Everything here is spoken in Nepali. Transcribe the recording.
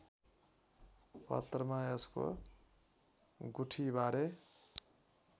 पत्रमा यसको गुठीबारे